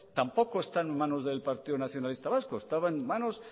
tampoco está en manos del partido nacionalista vasco estaban en manos